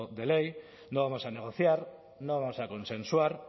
de ley no vamos a negociar no vamos a consensuar